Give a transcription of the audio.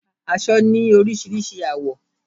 Aṣọ ni orísirísi àwọ̀